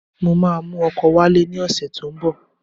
Mo máa mú ọkọ wálé ní ọ̀sẹ̀ tó ń bọ̀.